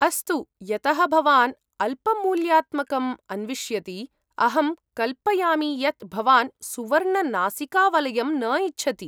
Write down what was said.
अस्तु, यतः भवान् अल्पमूल्यात्मकम् अन्विष्यति, अहं कल्पयामि यत् भवान् सुवर्णनासिकावलयं न इच्छति।